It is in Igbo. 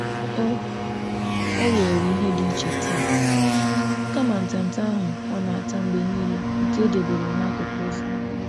Ọ nwara ihe ọhụrụ taa kama ihe ọ na-azụta mgbe niile n’ụlọ ahịa n'akụkụ ụzọ.